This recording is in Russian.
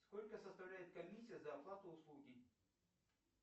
сколько составляет комиссия за оплату услуги